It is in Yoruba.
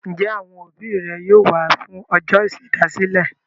Ǹjẹ́ àwọn òbí rẹ yóò wá fún ọjọ́ ìṣèdásílẹ̀?